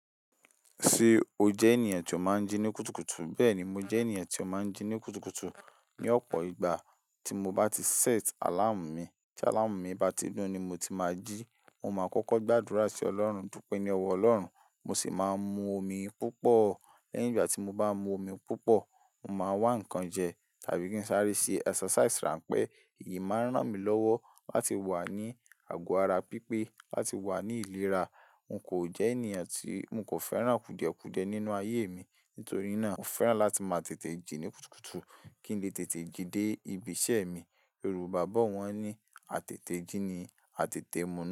Ṣé o jẹ́ ènìyàn tí ó máa ń jí ní kùtùkùtù? Bẹ́ẹ̀ ni, mo jẹ́ ènìyàn tí ó máa ń jí ní kùtùkùtù. Ni ọ̀pọ̀ ìgbà tí mo bá ti set àláàmù mi, tí àláàmù mi bá ti ńú ni mo ti máa jí. Mo máa kọ́kọ́ gbàdúrà sí Ọlọ́run dúpẹ́ ní ọwọ́ Ọlọ́run, mo sì máa mu omi púpọ̀. Lẹ́yìn ìgbà tí mo bá mu omi púpọ̀, mo máa wá ǹkan jẹ tàbí kí n sáré ṣe exercise ránpẹ́. Èyí máa ń ràn mí lọ́wọ́ láti wà ní àgọ́ ara pípé, láti wà ní ìlera. N kò jẹ́ ènìyàn tí, n kò fẹ́ràn kùdẹ̀ kùdẹ̀ nínú ayé mi. Nítorí náà, mo fẹ́ràn láti máa tètè jí ní kùtùkùtù kí n lè tètè jí dé ibi iṣẹ́ mi. Yorùbá bọ̀ wọ́n ní "àtètè jí ni àtètè múnú".